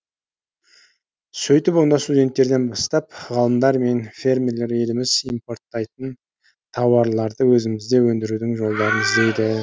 сөйтіп онда студенттерден бастап ғалымдар мен фермерлер еліміз импорттайтын тауарларды өзімізде өндірудің жолдарын іздейді